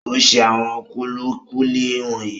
O ṣe àwọn kúlíkúlí wọ̀nyí.